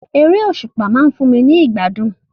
Eré òsùpá ma n fun mi ni ìgbádùn